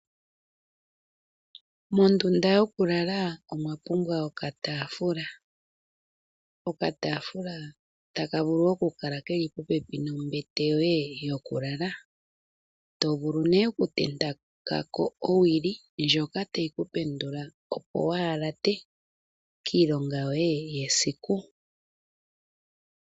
Mondunda yokulala omwa pumbwa okataafula, okataafula taka vulu keli popepi nombete yoye yokulala, to vulu nee okutenteka ko owili ndjoka tayi ku pendula opo waa ha late kiilonga yoye yesiku.